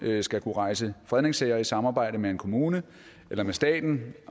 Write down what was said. skal kunne rejse fredningssager i samarbejde med en kommune eller med staten